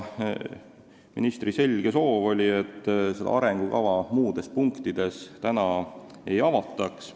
Ministri selge soov oli, et arengukava muudes punktides praegu ei avataks.